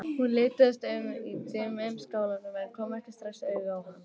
Hún litaðist um í dimmum skálanum en kom ekki strax auga á hann.